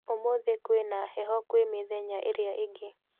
ũmũthĩ kwĩna heho kwĩ mithenya ĩrĩa ĩngĩ